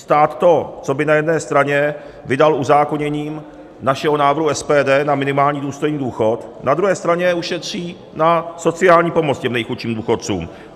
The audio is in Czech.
Stát to, co by na jedné straně vydal uzákoněním našeho návrhu SPD na minimální důstojný důchod, na druhé straně ušetří na sociální pomoc těm nejchudším důchodcům.